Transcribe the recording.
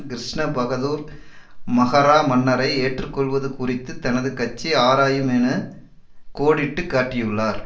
கிருஷ்ண பகதூர் மகரா மன்னரை ஏற்றுக்கொள்வது குறித்து தனது கட்சி ஆராயுமென கோடிட்டு காட்டியுள்ளார்